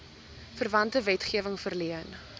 verwante wetgewing verleen